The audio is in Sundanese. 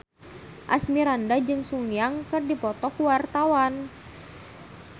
Asmirandah jeung Sun Yang keur dipoto ku wartawan